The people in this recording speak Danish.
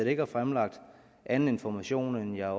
ikke har fremlagt anden information end jeg